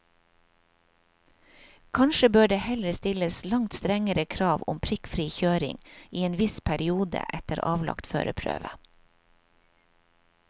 Kanskje bør det heller stilles langt strengere krav om prikkfri kjøring i en viss periode etter avlagt førerprøve.